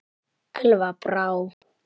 Elva Brá.